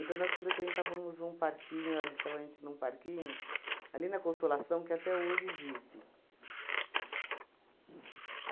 nós frequentávamos um parquinho, ela deixava a gente num parquinho, ali na Consolação, que até hoje existe.